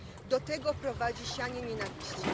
Do tego prowadzi sianie nienawiści.